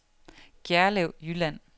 Gjerlev Jylland